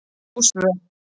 Ósvör